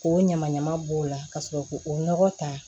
K'o ɲama ɲaman b'o la ka sɔrɔ k'o nɔgɔ ta